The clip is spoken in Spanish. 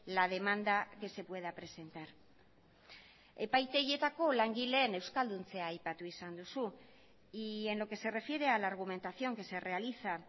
la demanda que se pueda presentar epaitegietako langileen euskalduntzea aipatu izan duzu y en lo que se refiere a la argumentación que se realiza